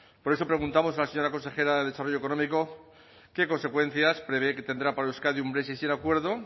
por eso preguntamos a la señora consejera de desarrollo económico qué consecuencias prevé que tendrá para euskadi un brexit sin acuerdo